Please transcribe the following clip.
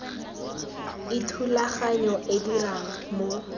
e thulaganyo e dirang mo